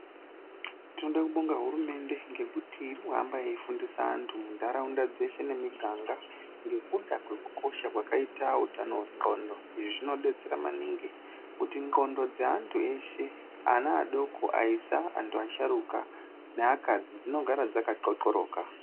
Toda kubonga hurumende ngekuti iri kuhamba yei fundisa vantu mundaraunda dzeshe nemiganga ngekuda kwekukosha kwakaita utano wendxondo, izvi zvinodetsera maningi kuti ndxondo dzeantu eshe, ana adoko, aisa, antu asharuka neakadzi, dzinogara dzaka xhoxhoroka.